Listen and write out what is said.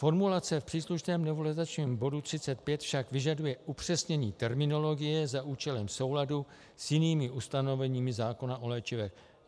Formulace v příslušném novelizačním bodu 35 však vyžaduje upřesnění terminologie za účelem souladu s jinými ustanovení zákona o léčivech.